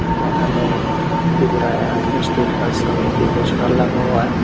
बाहर में त्रिपुरा स्टेट हज कमेटी पोस्टर लगा हुआ है।